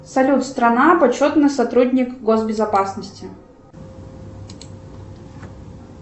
салют страна почетный сотрудник госбезопасности